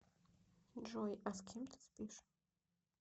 джой а с кем ты спишь